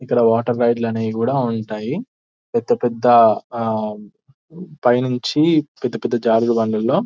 ఇక్కడ water ride అనేవి కూడా ఉంటాయి పెద్ద పెద్ద ఆ పైనుంచి పెద్ద పెద్ద జారుడు బండ లలో --